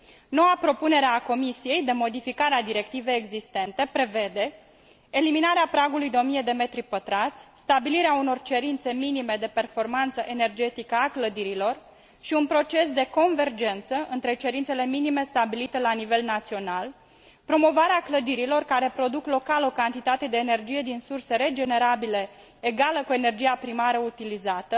Noua propunere a Comisiei, de modificare a directivei existente prevede eliminarea pragului de 1000 de m 2 stabilirea unor cerințe minime de performanță energetică a clădirilor și un proces de convergență între cerințele minime stabilite la nivel național, promovarea clădirilor care produc local o cantitate de energie din surse regenerabile egală cu energia primară utilizată,